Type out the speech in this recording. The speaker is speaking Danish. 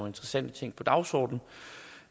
interessante ting på dagsordenen